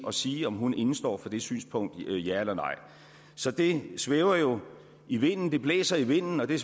at sige om hun indestår for det synspunkt ja eller nej så det svæver jo i vinden det blæser i vinden og det